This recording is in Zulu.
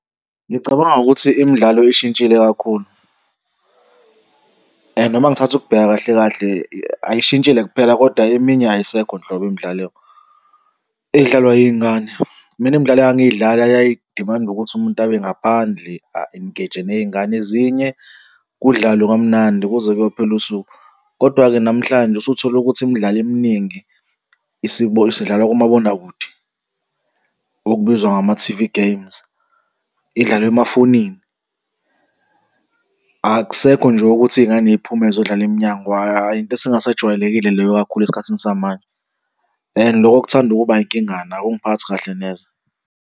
Ngicabanga ukuthi imidlalo ishintshile kakhulu, and uma ngithatha ukubheka kahle kahle ayishintshile kuphela kodwa eminye ayisekho nhlobo imidlalo edlalwa iy'ngane. Mina imidlalo engangiyidlala yayidimanda ukuthi umuntu abe ngaphandle a-engage-e ney'ngane ezinye kudlalwe kamnandi kuze kuyophela usuku. Kodwa-ke namhlanje usuthola ukuthi imidlalo eminingi isidlalwa kumabonakude okubizwa ngama-T_V games, idlalwa emafonini. Akusekho nje ukuthi iy'ngane y'phume zodlala emnyango hhayi, into esingasajwayelekile leyo kakhulu esikhathini samanje, and loko kuthanda ukuba inkingana akungiphathi kahle neze.